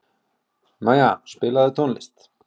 Maja, spilaðu tónlist.